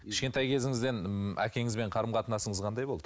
кішкентай кезіңізден ы әкеңізбен қарым қатынасыңыз қандай болды